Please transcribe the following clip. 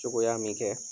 Cogoya min kɛ